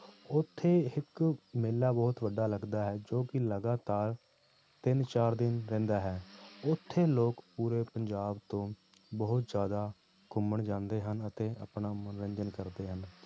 ਉੱਥੇ ਇੱਕ ਮੇਲਾ ਬਹੁਤ ਵੱਡਾ ਲੱਗਦਾ ਹੈ ਜੋ ਕਿ ਲਗਾਤਾਰ ਤਿੰਨ ਚਾਰ ਦਿਨ ਰਹਿੰਦਾ ਹੈ ਉੱਥੇ ਲੋਕ ਪੂਰੇ ਪੰਜਾਬ ਤੋਂ ਬਹੁਤ ਜ਼ਿਆਦਾ ਘੁੰਮਣ ਜਾਂਦੇ ਹਨ ਅਤੇ ਆਪਣਾ ਮਨੋਰੰਜਨ ਕਰਦੇ ਹਨ।